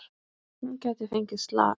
Hún gæti fengið slag.